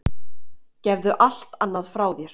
Gefðu allt annað frá þér.